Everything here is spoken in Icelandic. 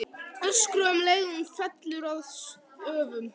Öskra um leið og hún fellur að stöfum.